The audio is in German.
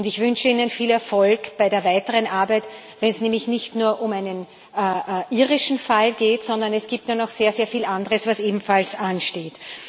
Und ich wünsche Ihnen viel Erfolg bei der weiteren Arbeit, weil es nämlich nicht nur um einen irischen Fall geht, sondern es gibt da noch sehr, sehr viel anderes, was ebenfalls ansteht.